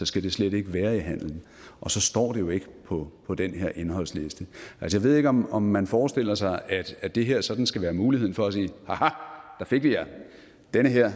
skal det slet ikke være i handel og så står det jo ikke på på den her indholdsliste jeg ved ikke om om man forestiller sig at det her sådan skal være en mulighed for at sige ha der fik vi jer den her